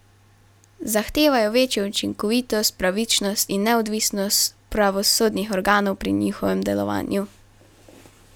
Zahtevajo večjo učinkovitost, pravičnost in neodvisnost pravosodnih organov pri njihovem delovanju.